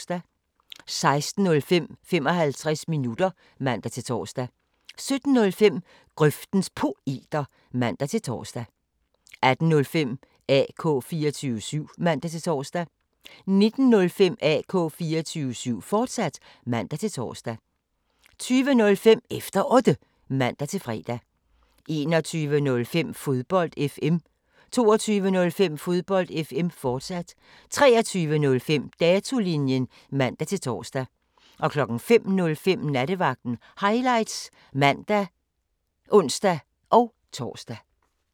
16:05: 55 minutter (man-tor) 17:05: Grøftens Poeter (man-tor) 18:05: AK 24syv (man-tor) 19:05: AK 24syv, fortsat (man-tor) 20:05: Efter Otte (man-fre) 21:05: Fodbold FM 22:05: Fodbold FM, fortsat 23:05: Datolinjen (man-tor) 05:05: Nattevagten Highlights (man og ons-tor)